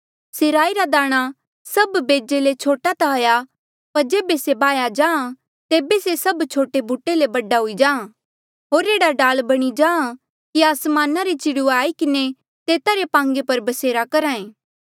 से राई रा दाणा सभ बेजे ले छोटा ता हाया पर जेबे से बाह्या जाहाँ तेबे से सभ छोटे बूटे ले बडा हुई जाहाँ होर एह्ड़ा डाल बणी जाहाँ कि आसमाना रे चिड़ुए आई किन्हें तेता रे पांगे पर बसेरा करहा ऐें